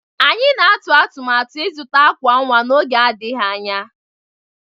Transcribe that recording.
Anyị na-atụ atụmatụ ịzụta àkwà nwa n'oge adịghị anya.